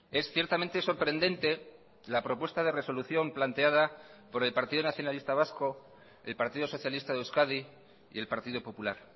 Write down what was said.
es ciertamente sorprendente la propuesta de resolución planteada por el partido nacionalista vasco el partido socialista de euskadi y el partido popular